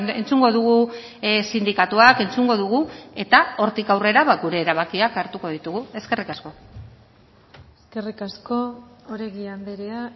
entzungo dugu sindikatuak entzungo dugu eta hortik aurrera gure erabakiak hartuko ditugu eskerrik asko eskerrik asko oregi andrea